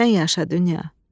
Sən yaşa dünya.